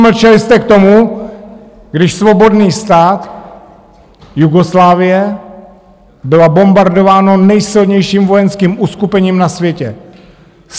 Mlčeli jste k tomu, když svobodný stát Jugoslávie byl bombardován nejsilnějším vojenským uskupením na světě - 76 dní.